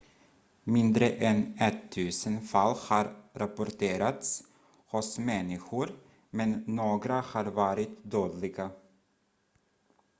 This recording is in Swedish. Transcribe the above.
mindre än ettusen fall har rapporterats hos människor men några har varit dödliga